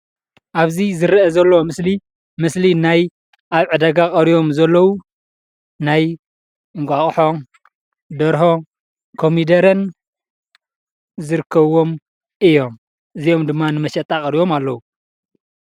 ኣብዚ ዝረአ ዘሎ ምስሊ ምስሊ ናይ ኣብ ዕዳጋ ቀሪቦም ዘለው ናይ እንቋቁሖ፣ ደርሆ፣ ኮሚደረን ዝርከብዎም እዮም። እዚኦም ድማ ንመሸጣ ቀሪቦም ኣለው።